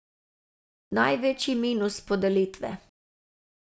Največji minus podelitve!